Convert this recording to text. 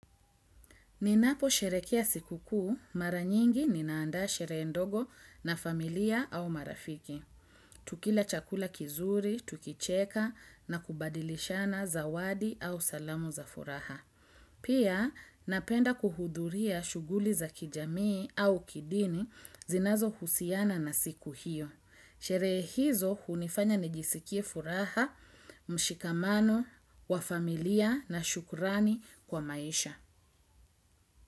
Ninaposherekea siku kuu mara nyingi ninaanda sherehe ndogo na familia au marafiki. Tukila chakula kizuri tukicheka na kubadilishana zawadi au salamu za furaha. Pia napenda kuhudhuria shuguli za kijamii au kidini zinazo husiana na siku hiyo. Sherehe hizo hunifanya nijisikie furaha, mshikamano, wa familia na shukurani kwa maisha.